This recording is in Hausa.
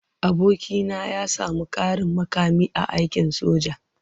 Abokina ya sami ƙarin mukami a aikin soja.